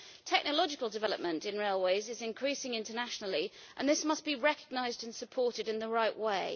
Technological development in railways is increasing internationally, and this must be recognised and supported in the right way.